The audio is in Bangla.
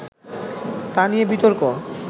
তা নিয়ে বিতর্ক